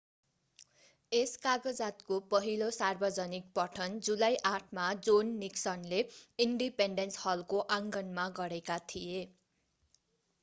यस कागजातको पहिलो सार्वजनिक पठन जुलाई 8 मा जोन निक्सनले इन्डिपेन्डेन्स हलको आँगनमा गरेका थिए